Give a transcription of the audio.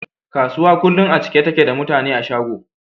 Kasuwa kullun a cike take da mutane a shago